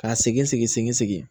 Ka segin segin segin